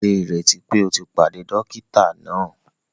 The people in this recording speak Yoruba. Ṣe ìrètí pé o tí pàdé dókítà náà!?